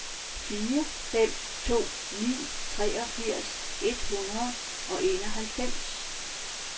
fire fem to ni treogfirs et hundrede og enoghalvfems